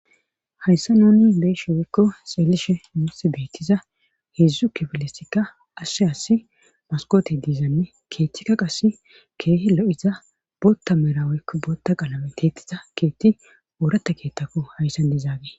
Hayssa nuni beeshe woykko seelishe mins beettiza heedzdzu kifilesikka assi assi maskoti diizanne keeththikka qass keehi lo"iza bootta meraweykko bootta qalame teetiza keethti ooratta keettakko hayssan diizaage